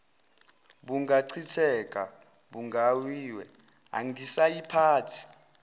bungachitheka bugayiwe angisayiphathi